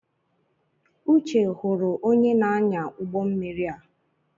Uche hụrụ onye na-anya ụgbọ mmiri a.